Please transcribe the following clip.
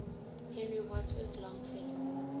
henry wadsworth longfellow